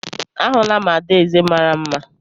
Ahụla m adaeze mara mma